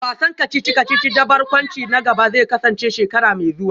Wasan kacici-kacici da barkwanci na gaba zai kasance shekara mai zuwa